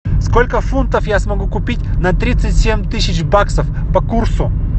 сколько фунтов я смогу купить на тридцать семь тысяч баксов по курсу